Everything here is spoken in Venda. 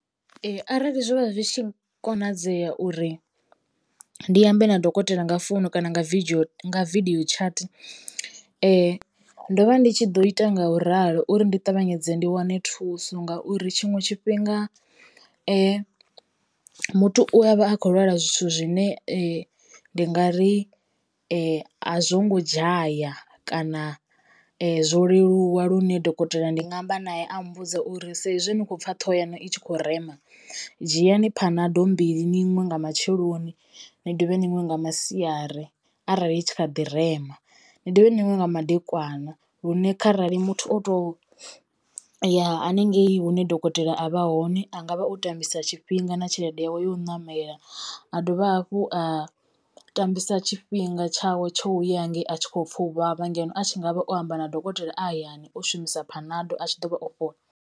Ee arali zwo vha zwi tshi konadzea uri ndi ambe na dokotela nga founu kana nga vidio nga vidio chat ndo vha ndi tshi ḓo ita nga u ralo uri ndi ṱavhanyedze ndi wane thuso ngauri tshiṅwe tshifhinga muthu u avha akho lwala zwithu zwine ndi nga ri a zwo ngo dzhaya kana zwo leluwa lune dokotela ndi nga amba naye a mmbudza uri saizwi ni kho pfha thoho yaṋu ikho rema dzhiani phanado mbili ninwe nga matsheloni ni dovhe ni nwe nga masiari arali i tshi kha ḓi rema ni dovhe ni nwe nga madekwana. Lune kharali muthu o to ya haningei hune dokotela a vha hone a ngavha o tambisa tshifhinga na tshelede yawe ya u ṋamela a dovha hafhu a tambisa tshifhinga tshawe tsho ya hangei a tshi kho pfha u vhavha ngeno a tshi ngavha o amba na dokotela a hayani o shumisa phanado a tshi ḓo vha o fhola.